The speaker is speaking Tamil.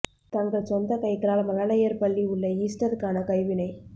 தங்கள் சொந்த கைகளால் மழலையர் பள்ளி உள்ள ஈஸ்டர் க்கான கைவினை